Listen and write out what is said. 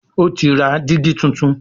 O tí ra digi títún.